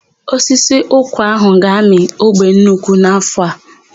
Osisi ụkwa áhụ̀ ga-amị ogbe nnukwu n'áfọ̀ a.